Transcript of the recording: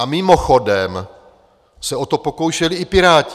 A mimochodem se o to pokoušeli i Piráti.